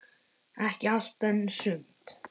Ekki allt, en sumt.